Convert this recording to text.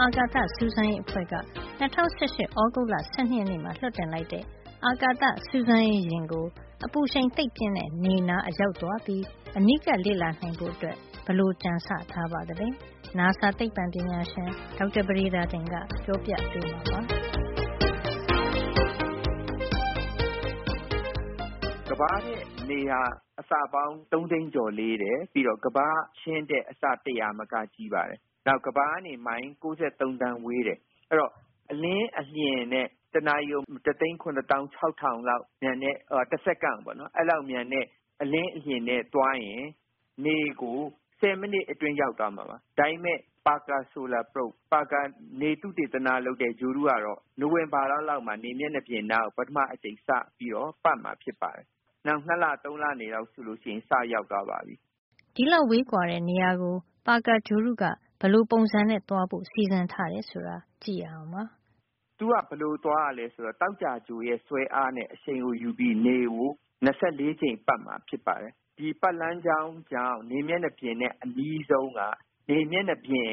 အာကာသစူးစမ်းရေးအဖွဲ့က ၂၀၁၈ သြဂုတ်လ ၁၂ ရက်နေ့မှာ လွှတ်တင်လိုက်တဲ့ အာကာသစူးစမ်းရေးယာဉ်ကို အပူရှိန် သိပ်ပြင်းတဲ့ နေနားအရောက်သွားပြီး အနီးကပ်လေ့လာ နိုင်ဖို့ ဘယ်လို ကြံဆထားပါသလဲ။ နာဆာ သိပ္ပံပညာရှင် ဒေါက်တာပဒေသာတင်က ပြောပြပေးမှာပါ။ “ကမ္ဘာထက် နေဟာ အဆပေါင်း ၃ သိန်းကျော် လေးတယ်။ ပြီးတော့ ကမ္ဘာ့အချင်းထက် အဆ တရာမက ကြီးပါတယ်။ နောက် ကမ္ဘာကနေ မိုင် ပေါင်း ၉၃ သန်းဝေးတယ်။ အဲဒီတော့ အလင်းအလျင်နဲ့ တနာရီကို ၁၇၆ ၀၀၀ လောက် မြန်တဲ့ - တစက္ကန့်ကို ပေါ့နော်။ အဲဒီလောက် မြန်တဲ့ အလင်းအလျင်နဲ့ သွားရင် နေကို ဆယ်မိနစ်အတွင်း ရောက်သွားမှာပါ။ ဒါပေမယ့် Parker Solar Probe - ပါကါ နေသုတေသန လုပ်တဲ့ ဂြိုဟ်တုကတော့ နိုဝင်ဘာလ လောက်မှာ နေမျက်နှာပြင်နားကို ပထမဆုံးအကြိမ် စပြီးတော့ ပတ်မှာ ဖြစ်ပါတယ်။ နောက် ၂ လ ၃ လ နေတော့။ အဲဒီအချိန်လောက် ဆိုရင် စပြီးတော့ ရောက်သွားပါပြီ။ ဒီလောက် ဝေးကွာတဲ့နေရာကို ပါကာဂြိုဟ်တုက ဘယ်လိုပုံစံနဲ့သွားဖို့ စီစဉ်ထားတယ် ဆိုတာ ကြည့်ရအောင်ပါ။ “ သူက ဘယ်လို သွားရသလဲ ဆိုတော့ သောကြာဂြိုဟ်ရဲ့ ဆွဲအားနဲ့ အရှိန်ကို ယူပြီးနေကို ၂၄ ကြိမ် ပတ်မှာ ဖြစ်ပါတယ်။ ဒီပတ်လမ်းကြောင်းကြောင့် နေမျက်နှာပြင်နဲ့ အနီးဆုံးက - နေမျက်နှာပြင်